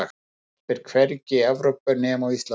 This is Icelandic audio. hún verpir hvergi í evrópu nema á íslandi